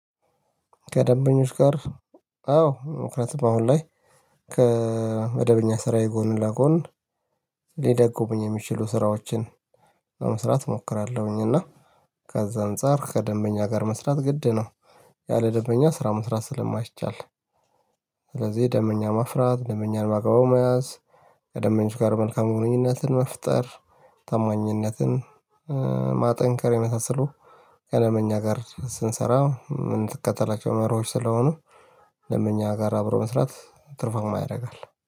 ከደበኞች ጋር አዎ ክረት በአሁን ላይ ከመደበኛ ስራዬ ጎን ለጎን ሊደግሙኝ የሚችሉ ስራዎችን ለመስራት እሞክራለሁኝ እና ከዛ አንፃር ከደበኛ ጋር መስራት ግድ ነው ያለ ደንበኛ ስራ መስራት ስለማይቻል። ስለዚህ ደንበኛ ማፍራት ደንበኛን በአግባቡ መያዝ ከደንበኞቹ ጋር መልካም ግንኙነትን መፍጠር። ታማኝነትን ማጠንከር የመሳሰሉ ከደንበኛ ጋር ስንሰራ ምን ትከተላቸው መርሆዎች ስለሆኑ? ደንበኛ ጋር አብሮ መስራት ትርፋማ ያደርጋል